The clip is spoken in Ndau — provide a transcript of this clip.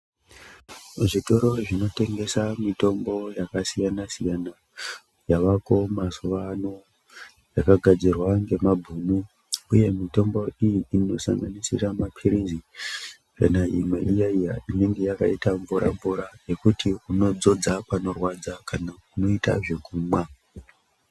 Zvitoro zvinotengesa mitombo yakasiyana siyana yavako mazuva ano yakagadzirwa ngemabhunu uye mitombo iyi inosanganisira mapirizi kana imwe iya iya inenge yakaita mvura mvura yekuti unodzodza panorwadza kana unoita zvekumwa.